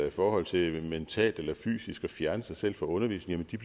i forhold til mentalt eller fysisk at fjerne sig selv fra undervisningen jo